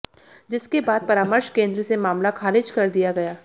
जिसके बाद परामर्श केंद्र से मामला खारिज कर दिया गया